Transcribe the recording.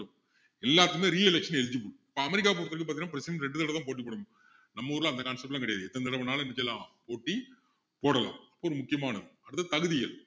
எல்லாருக்குமே re-election eligibe இப்போ அமெரிக்காவை பொறுத்த வரைக்கும் பாத்திங்கன்னா president ரெண்டு தடவை தான் போட்டி போட முடியும் நம்ம ஊர்ல அந்த concept லாம் கிடையாது எத்தனை தடவை வேணும்னாலும் என்ன செய்யலாம் போட்டி போடலாம் ரொம்ப முக்கியமானது அடுத்தது தகுதிகள்